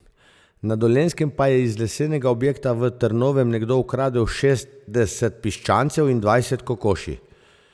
Na Dolenjskem pa je iz lesenega objekta v Drnovem nekdo ukradel šestdeset piščancev in dvajset kokoši.